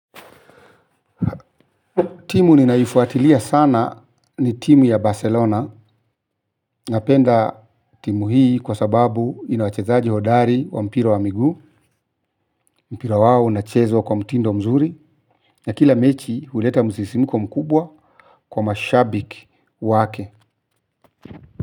Timu ninayoifuatilia sana ni timu ya Barcelona. Napenda timu hii kwa sababu ina wachezaji hodari wa mpira wa miguu, mpira wao unachezwa kwa mtindo mzuri. Na kila mechi huleta msisimiko mkubwa kwa mashabiki wake.